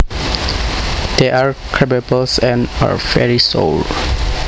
They are crabapples and are very sour